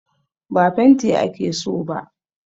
Ba fenti ake so ba